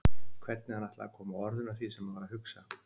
Hvernig hann ætlaði að koma orðum að því sem hann var að hugsa.